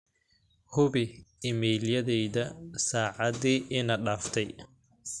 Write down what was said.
hubi iimayladayda saacadii ina dhaaftay